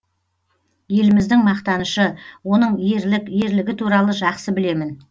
еліміздің мақтанышы оның ерлік ерлігі туралы жақсы білемін